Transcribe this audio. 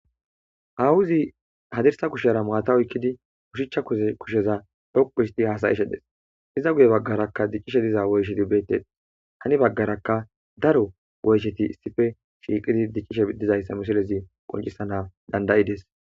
ahuzi hadirsa kushera maata oykkidi kushichcha zkusheza dhoqu histi hasayishe des iza guye baggarakka diccishe diza woyshedi betes hani baggaraka daro goysheti sife shiiqidi diccishe dizayssa misolezi qoncisana dandayides